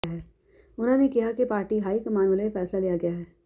ਉਨ੍ਹਾਂ ਨੇ ਕਿਹਾ ਕਿ ਪਾਰਟੀ ਹਾਈ ਕਮਾਨ ਵਲੋਂ ਇਹ ਫੈਸਲਾ ਲਿਆ ਗਿਆ ਹੈ